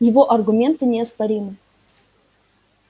его аргументы неоспоримы